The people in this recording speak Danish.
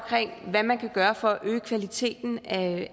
hvad man kan gøre for at øge kvaliteten af